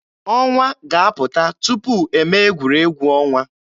Ọnwa ga-apụta tupu eme egwuregwu ọnwa.